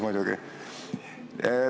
Nii tuli välja.